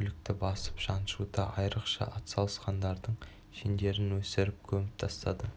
бүлікті басып-жаншуда айрықша атсалысқандардың шендерін өсіріп көміп тастады